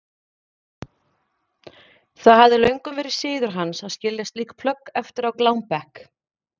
Það hafði löngum verið siður hans að skilja slík plögg eftir á glámbekk.